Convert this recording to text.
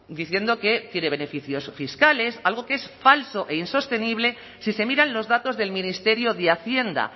diciendo que tiene beneficios fiscales algo que es falso e insostenible si se miran los datos del ministerio de hacienda